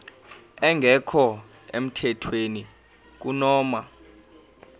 engekho emthethweni kunoma